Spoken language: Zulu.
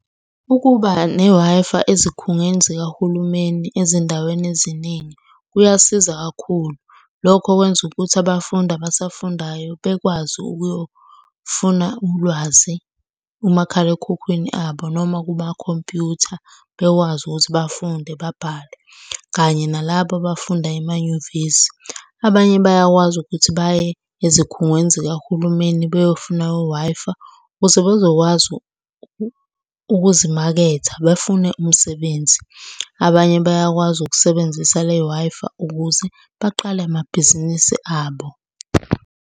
Ukuba ne-Wi-Fi ezikhungweni zikahulumeni ezindaweni eziningi, kuyasiza kakhulu. Lokho kwenza ukuthi abafundi abasafundayo bekwazi ukuyofuna ulwazi kumakhalekhukhwini abo noma kumakhompyutha. Bekwazi ukuthi bafunde babhale, kanye nalaba abafunda emanyuvesi. Abanye bayakwazi ukuthi baye ezikhungweni zikahulumeni beyofuna u-Wi-Fi ukuze bezokwazi ukuzimaketha bafune umsebenzi. Abanye bayakwazi ukusebenzisa le-Wi-Fi ukuze baqale amabhizinisi abo.